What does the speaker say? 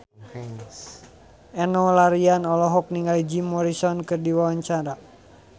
Enno Lerian olohok ningali Jim Morrison keur diwawancara